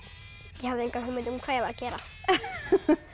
ég hafði enga hugmynd um hvað ég var að gera